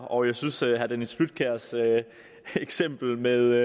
og jeg synes at herre dennis flydtkjærs eksempel med